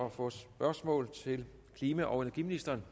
at få et spørgsmål til klima og energiministeren